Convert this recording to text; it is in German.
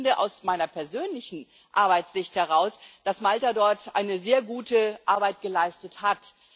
Und ich finde aus meiner persönlichen Arbeitssicht heraus, dass Malta dort sehr gute Arbeit geleistet hat.